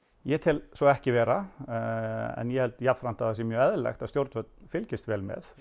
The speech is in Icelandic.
ég tel svo ekki vera en ég tel jafnframt mjög eðlilegt að stjórnvöld fylgist vel með